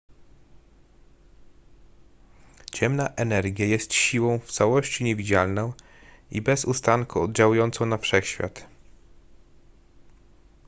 ciemna energia jest siłą w całości niewidzialną i bez ustanku oddziałującą na wszechświat